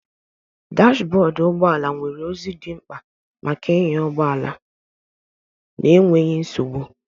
Dash bọọdụ ụgbọ ala nwere ozi dị mkpa maka ịnya ụgbọ ala n'enweghị nsogbu